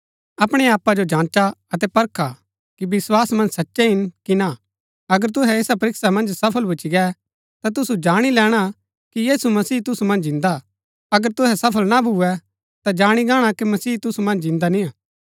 अपणै आपा जो जाँचा अतै परखा कि विस्वास मन्ज सचै हिन कि ना अगर तुहै ऐसा परीक्षा मन्ज सफल भूच्ची गै ता तुसु जाणी लैणा कि यीशु मसीह तुसु मन्ज जिन्दा हा अगर तुहै सफल ना भुऐ ता जाणी गाणा कि मसीह तुसु मन्ज जिन्दा निय्आ